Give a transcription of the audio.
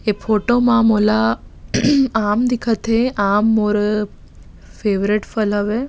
ये फोटो मा मोला आम दिखत हे आम मोर फेवरेट फल हवे।